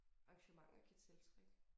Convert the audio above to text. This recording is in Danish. Arrangementer kan tiltrække